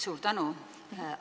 Suur tänu!